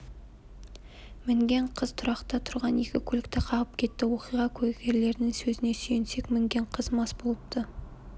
мінген қыз тұрақта тұрған екі көлікті қағып кетті оқиға куәгерлерінің сөзіне сүйенсек мінген қыз мас болыпты